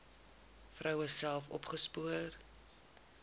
vroue self opgespoor